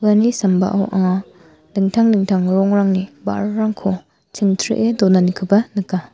sambao anga dingtang dingtang rongrangni ba·rarangko chingchree donanikoba nika.